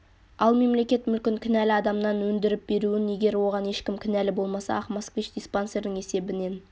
ал мемлекет мүлкін кінәлі адамнан өндіріп беруін егер оған ешкім кінәлі болмаса ақ москвич диспансердің есебінен